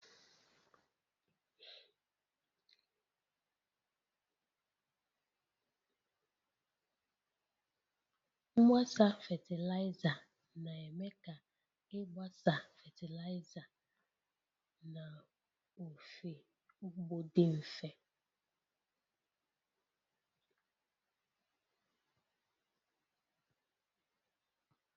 Mgbasa fatịlaịza, na-eme ka ịgbasa fatịlaịza n'ofe ugbo dị mfe